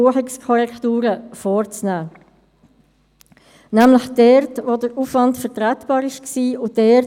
Ich begrüsse die Finanzdirektorin unter uns und wünsche ihr einen guten Verlauf der Debatte.